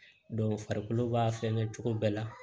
farikolo b'a fɛnkɛ cogo bɛɛ la